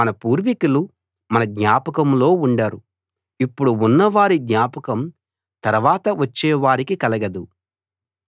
మన పూర్వికులు మన జ్ఞాపకంలో ఉండరు ఇప్పుడు ఉన్నవారి జ్ఞాపకం తరవాత వచ్చే వారికి కలగదు